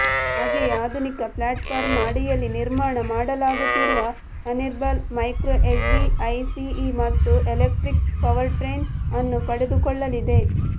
ಹಾಗೆಯೆ ಆಧೂನಿಕ ಪ್ಲಾಟ್ಪಾರ್ಮ್ನ ಅಡಿಯಲ್ಲಿ ನಿರ್ಮಾಣ ಮಾಡಲಾಗುತ್ತಿರುವ ಹಾರ್ನ್ಬಿಲ್ ಮೈಕ್ರೋ ಎಸ್ಯುವಿ ಐಸಿಇ ಮತ್ತು ಎಲೆಕ್ಟ್ರಿಕ್ ಪವರ್ಟ್ರೈನ್ ಅನ್ನು ಪಡೆದುಕೊಳ್ಳಲಿದೆ